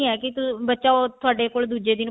ਕਿ ਬੱਚਾ ਉਹ ਥੋਡੇ ਕੋਲ ਦੂਜੇ ਦਿਨ